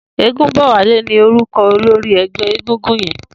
Egunbowale ni órúkọ̀ ólóri ẹgbẹ égúngún yèn